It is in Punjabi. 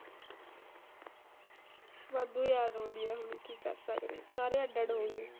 ਵਾਧੂ ਯਾਦ ਆਉਂਦੀ ਆ ਹੁਣ ਕੀ ਕਰ ਸਕਦੇ ਆ ਸਾਰੇ ਅੱਡ ਅੱਡ ਹੋਗੇ।